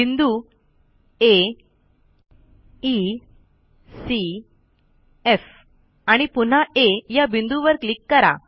बिंदू आ E C F आणि पुन्हा आ या बिंदूवर क्लिक करा